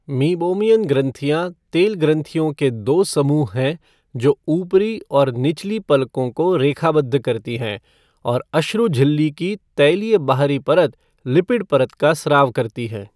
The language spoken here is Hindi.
मीबोमियन ग्रंथियां तेल ग्रंथियों के दो समूह हैं जो ऊपरी और निचली पलकों को रेखाबद्ध करती हैं और अश्रु झिल्ली की तैलीय बाहरी परत लिपिड परत का स्राव करती हैं।